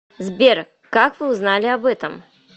сбер как вы узнали об этом